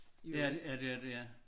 Ja ja det er det ja